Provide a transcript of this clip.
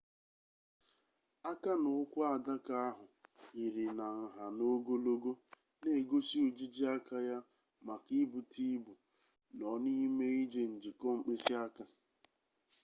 aka na ukwu adaka ahụ yiri na nha na ogologo na-egosi ojiji aka ya maka ibute ibu nọ n'ime ije njikọ mkpịsịaka